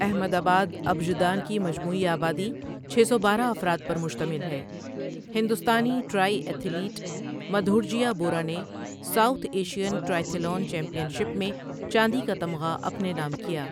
احمد آباد، ابژدان کی مجموعی آبادی چھ سو بارہ افراد پر مشتمل ہے. ہندوستانی ٹرائی ایتھلیٹ، مدھورجیا بورہ نے South Asian triathlon championship میں چاندی کا تمغہ اپنے نام کیا۔